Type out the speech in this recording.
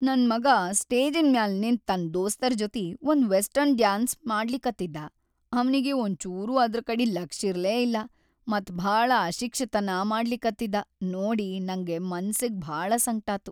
ನನ್‌ ಮಗಾ ಸ್ಟೇಜಿನ್‌ ಮ್ಯಾಲ್‌ ನಿಂತ್‌ ತನ್‌ ದೋಸ್ತರ್‌ ಜೊತಿ ಒಂದ್‌ ವೆಸ್ಟರ್ನ್‌ ಡ್ಯಾನ್ಸ್‌ ಮಾಡ್ಲಿಕತ್ತಿದ್ದಾ ಅವ್ನಿಗಿ ಒಂಚೂರೂ ಅದ್ರಕಡಿ ಲಕ್ಷಿರ್ಲೇ ಇಲ್ಲಾ ಮತ್‌ ಭಾಳ ಅಶಿಕ್ಷತನಾ ಮಾಡ್ಲಿಕತ್ತಿದ್ದಾ ನೋಡಿ ನಂಗ್ ಮನಸ್ಸಿಗಿ ಭಾಳ ಸಂಕ್ಟಾತು.